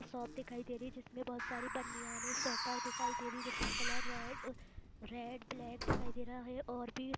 shop दिखाई दे रही है जिसमे बहुत सारी बानियाने स्वेटर दिखाई दे रही है जिसका कलर रेड रेड ब्लैक दिखाई दे रहा हैं और भी--